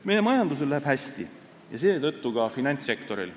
Meie majandusel läheb hästi ja seetõttu ka finantssektoril.